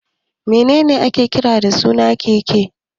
Me ne ne ake kira da suna keke?